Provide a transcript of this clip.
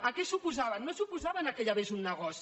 a què s’oposaven no s’oposaven al fet que hi hagués un negoci